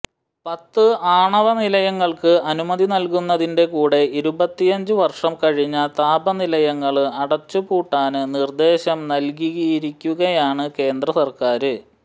പത്ത് ആണവ നിലയങ്ങള്ക്ക് അനുമതി നല്കുന്നതിന്റെ കൂടെ ഇരുപത്തിയഞ്ച് വര്ഷം കഴിഞ്ഞ താപനിലയങ്ങള് അടച്ചുപൂട്ടാന് നിര്ദ്ദേശം നല്കിയിരിക്കുകയാണ് കേന്ദ്ര സര്ക്കാര്